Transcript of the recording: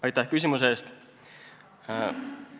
Aitäh küsimuse eest!